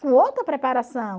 Com outra preparação.